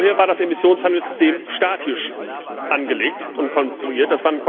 Vorher war das Emissionshandelssystem statisch angelegt und konstruiert